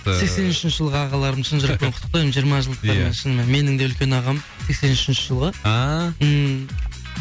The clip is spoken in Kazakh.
ііі сексен үшінші жылғы ағаларым шын жүректен құттықтаймын жиырма жылдықтарыңмен шынымен менің де үлкен ағам сексен үшінші жылғы ааа ммм